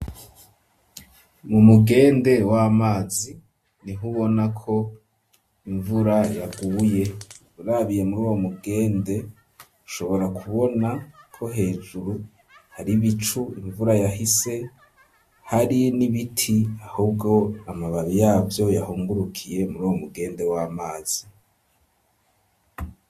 Mu mugende w'amazi nihubona ko imvura yaguye, urabiye mur'uwo mugende ushobora kubona ko hejuru hari bicu imvura yahise, hari n'ibiti ahubwo amababi yavyo yahungurukiye muri uwo mugende w'amazi.